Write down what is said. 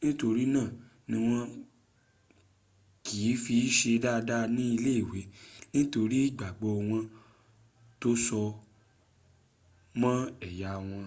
nitori naa ni wọn ki fi se dada ni ile iwe nitori igbagbọ wọn to so mọ eya wọn